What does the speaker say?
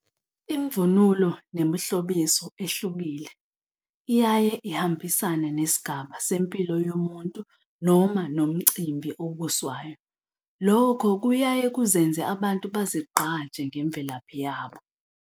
Imvunulo nemihlobiso ehlukile iyaye ihambisane nesigaba sempilo yomuntu noma nomcimbi obuswayo. Lokho kuyaye kuzenza abantu bayazigqaja ngemvelaphi yabo.